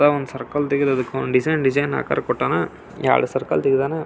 White board ಚಿತ್ರ ಬಿಡಸ್ಯಾ.